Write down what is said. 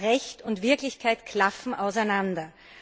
Aber Recht und Wirklichkeit klaffen auseinander.